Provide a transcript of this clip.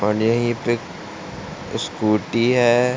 यही पे एक स्कूटी है।